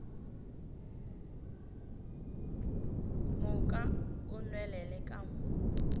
moka o nwelele ka mo